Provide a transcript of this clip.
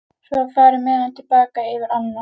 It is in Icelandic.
Svo var farið með hana til baka yfir ána.